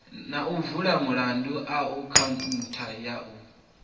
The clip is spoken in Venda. na u vula akhaunthu ya